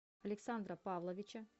александра павловича